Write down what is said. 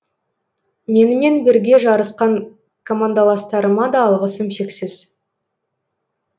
менімен бірге жарысқан командаластарыма да алғысым шексіз